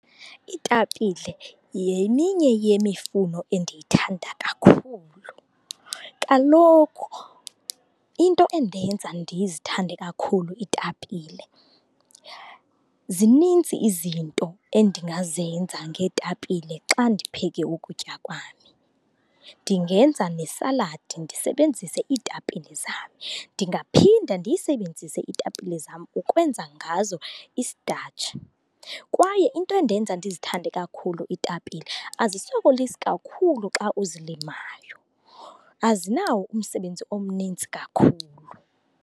Iitapile yeminye yemifuno endiyithanda kakhulu. Kaloku into endenza ndizithande kakhulu iitapile zinintsi izinto endingazenza ngeetapile xa ndipheke ukutya kwami. Ndingenza nesaladi ndisebenzise iitapile zam. Ndingaphinda ndiyisebenzise iitapile zam ukwenza ngazo i-starch. Kwaye into endenza ndizithande kakhulu iitapile azisokolisi kakhulu xa uzilimayo, azinawo umsebenzi omninzi kakhulu.